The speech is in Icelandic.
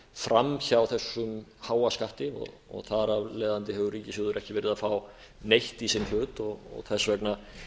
fram hjá þessum háa skatti þar af leiðandi hefur ríkissjóður ekki verið að fá neitt í sinn hlut þess vegna